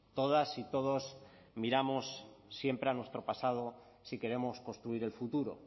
todas y todos miramos siempre a nuestro pasado si queremos construir el futuro